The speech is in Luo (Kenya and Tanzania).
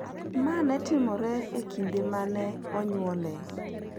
ma ne timore e kinde ma ne onyuolee;